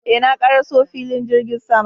Eh, na ƙaraso filin jirgin sama